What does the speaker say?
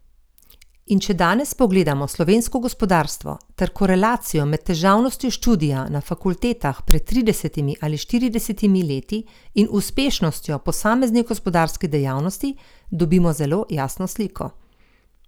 In če danes pogledamo slovensko gospodarstvo ter korelacijo med težavnostjo študija na fakultetah pred tridesetimi ali štiridesetimi leti in uspešnostjo posameznih gospodarskih dejavnosti, dobimo zelo jasno sliko.